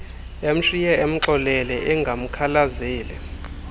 emshiye emxolele engamkhalazeli